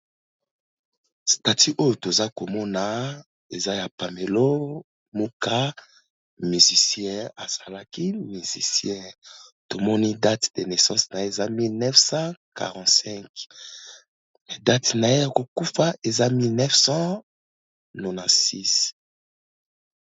Statut oyo toza komona eza ya Pamelo moka musicien, asalaki musicien tomoni date de naissance na ye eza 1945 date na ye ya kokufa eza 1996.